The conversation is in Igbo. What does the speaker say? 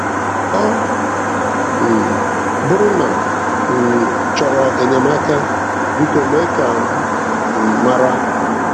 Ọ um bụrụ na ị um chọrọ enyemaka, Biko, mee ka m um mara.